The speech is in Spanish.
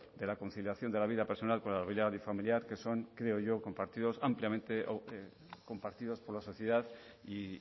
de la conciliación de la vida personal con la privada y familiar que son creo yo compartidos ampliamente o compartidos por la sociedad y